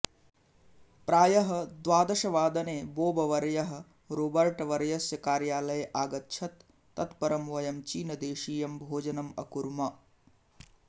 प्रायः द्वादशवादने बोबवर्यः रोबर्टवर्यस्य कार्यालये आगच्छत् तत् परं वयं चीनदेशीयं भोजनम् अकुर्म